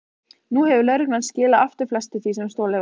Nú hefur lögreglan skilað aftur flestu því sem stolið var.